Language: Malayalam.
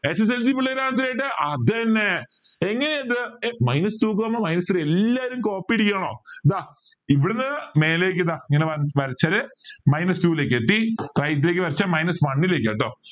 sslc പിള്ളേർ answer ചെയ്യട്ടെ അതെന്നെ ഇനി ഇത് ഏർ minus two comma minus three എല്ലാരും copy അടിക്കാമോ ദാ ഇവിടുന്ന് മേലേക്ക് ദാ ഇങ്ങനെ വരച്ചാൽ minus two ലേക്ക് എത്തി right ലേക്ക് വരച്ച minus one ലേക്ക ട്ടോ